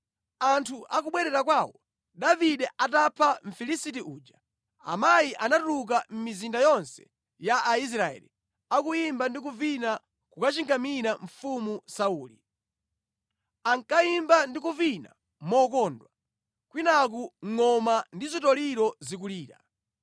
Anthu akubwerera kwawo Davide atapha Mfilisiti uja, amayi anatuluka mʼmizinda yonse ya Israeli, akuyimba ndi kuvina kukachingamira mfumu Sauli. Ankayimba ndi kuvina mokondwa, kwinaku ngʼoma ndi zitoliro zikulira.